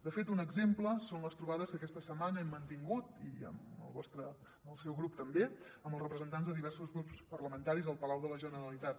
de fet un exemple són les trobades que aquesta setmana hem mantingut i amb el seu grup també amb els representants de diversos grups parlamentaris al palau de la generalitat